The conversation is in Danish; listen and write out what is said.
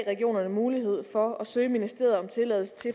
mulighed på